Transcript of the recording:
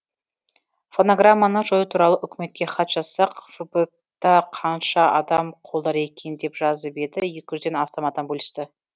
фонограмманы жою туралы үкіметке хат жазсақ фб та қанша адам қолдар екен деп жазып еді екі жүзден астам адам бөлісті